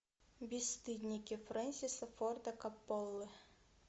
бесстыдники фрэнсиса форда копполы